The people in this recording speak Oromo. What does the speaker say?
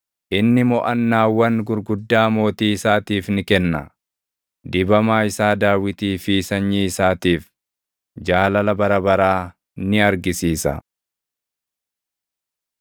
Inni moʼannaawwan gurguddaa mootii isaatiif ni kenna; dibamaa isaa Daawitii fi sanyii isaatiif, jaalala bara baraa ni argisiisa.